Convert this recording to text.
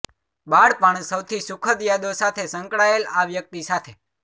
બાળપણ સૌથી સુખદ યાદો સાથે સંકળાયેલ આ વ્યક્તિ સાથે